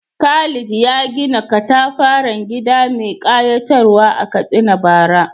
Khalid ya gina katafaren gida mai kayatarwa a Katsina bara.